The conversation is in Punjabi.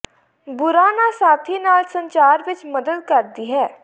ਬੁਰਾ ਨਾ ਸਾਥੀ ਨਾਲ ਸੰਚਾਰ ਵਿੱਚ ਮਦਦ ਕਰਦੀ ਹੈ